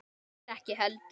Mér ekki heldur.